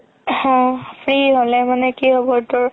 উম free হ'লে মানে কি হ'ব তোৰ